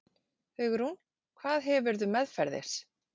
Hugrún: Hvað hefurðu meðferðis?